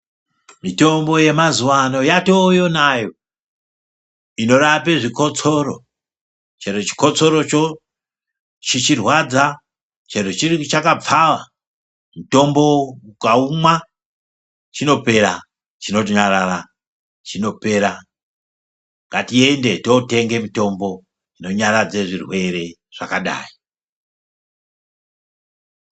Mitombo yemazuwa ano yatoyo nayo inorape zvikotsoro ,chero chikotsocho chichirwadza chero chakapfawa mutombo ukaumwa chinopera ,chinonyarara chinopera ngatiende totenge mitombo inonyaradze zvirwere zvakadai.